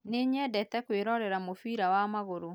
Nĩ nyendete kwĩrorera mũbira wa magũrũ